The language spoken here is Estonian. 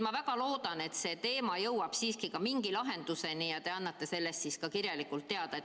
Ma väga loodan, et see teema jõuab siiski ka mingi lahenduseni ja te annate sellest siis ka kirjalikult teada.